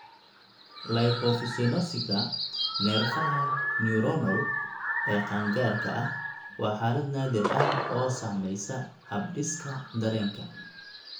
Lipofuscinosiska neerfaha neuronal ee qaangaarka ah waa xaalad naadir ah oo saameysa habdhiska dareenka.